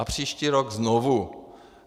A příští rok znovu.